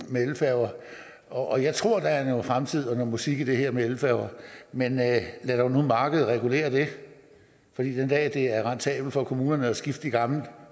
med elfærger og jeg tror der er noget fremtid og noget musik i det her med elfærger men lad dog nu markedet regulere det for den dag det er rentabelt for kommunerne at skifte de gamle